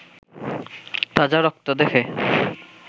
তাজা রক্ত দেখে